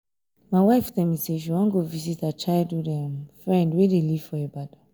my wife tell me say she wan go visit her childhood um friend wey dey live for ibadan